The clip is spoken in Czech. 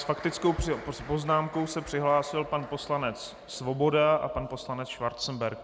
S faktickou poznámkou se přihlásil pan poslanec Svoboda a pan poslanec Schwarzenberg.